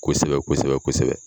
Kosɛbɛ kosɛbɛ kosɛbɛ